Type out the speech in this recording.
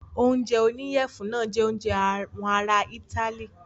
Oúnjẹ oníyẹ̀fun náà jẹ oúnjẹ àwọn ará itály.